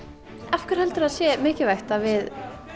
af hverju heldurðu að það sé mikilvægt að við